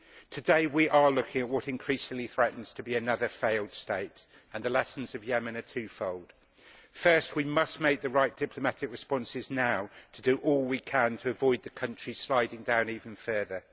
Today we are looking at what increasingly threatens to be another failed state, and the lessons of Yemen are twofold. First, we must make the right diplomatic responses now to do all we can to avoid the country sliding down even further.